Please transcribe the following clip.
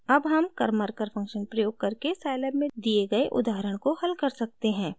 अब हम karmarkar function प्रयोग करके scilab में दिए गए उदाहरण को हल कर सकते हैं